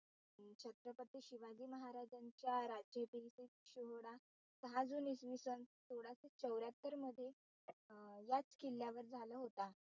राज्याभिषेक सोहळा सहा जुने इसवी सन सोळाशे चौऱ्ह्यातर मध्ये याच किल्ल्यावर झाला होता.